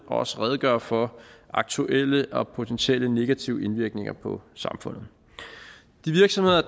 og også redegøre for aktuelle og potentielle negative indvirkninger på samfundet de virksomheder